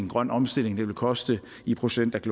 grøn omstilling vil koste i procent af